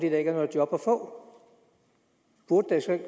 er noget job at få burde det så ikke